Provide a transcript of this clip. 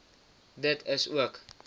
dit is ook